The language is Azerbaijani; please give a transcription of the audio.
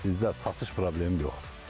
Qiymət bizdə satış problemi yoxdur.